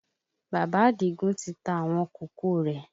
Bàbá Àdìgún ti ta àwọn kòkó rẹ